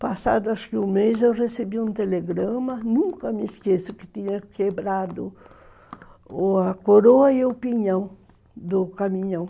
Passado, acho que um mês, eu recebi um telegrama, nunca me esqueço, que tinha quebrado a coroa e o pinhão do caminhão.